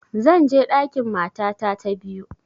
Zan je ɗakin matata ta biyu